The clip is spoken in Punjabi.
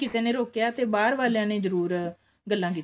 ਕਿਸੇ ਨੇ ਰੋਕਿਆ ਤੇ ਬਾਹਰ ਵਾਲੀਆਂ ਨੇ ਜਰੁਰ ਗੱਲਾਂ ਕੀਤੀਆਂ